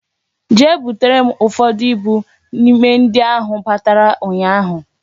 Butere m ụfọdụ ibu n'ime ndị a ahụ batara ụnyaahụ